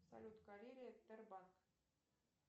салют карелия тер банк